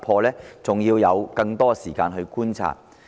這還需要更多時間去觀察。